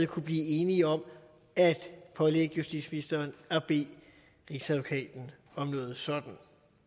kunne blive enige om at pålægge justitsministeren at bede rigsadvokaten om noget sådan